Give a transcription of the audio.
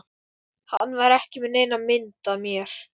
Hann var ekki með neina mynd af mér